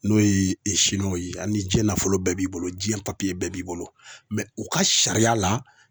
N'o ye ye .Hali ni jiɲɛ nafolo bɛɛ b'i bolo jiɲɛ papiye bɛɛ b'i bolo u ka sariya la